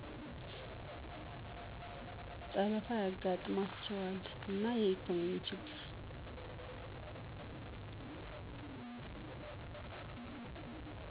ጠለፋ ያጥማቸዋል እና የኢኮኖሚ ችግር